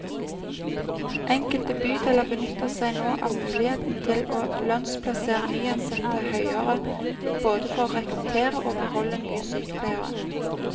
Enkelte bydeler benytter seg nå av muligheten til å lønnsplassere nyansatte høyere, både for å rekruttere og beholde nye sykepleiere.